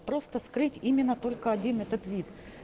просто скрыть именно только один этот вид